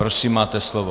Prosím, máte slovo.